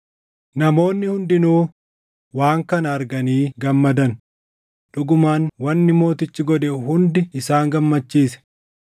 Namoonni hundinuu waan kana arganii gammadan; dhugumaan wanni mootichi godhe hundi isaan gammachiise.